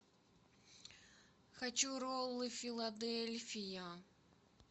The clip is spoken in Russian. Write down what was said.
хочу роллы филадельфия